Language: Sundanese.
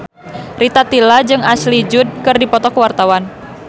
Rita Tila jeung Ashley Judd keur dipoto ku wartawan